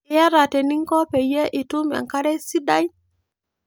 Iayata teninko peyie itum enkare sidai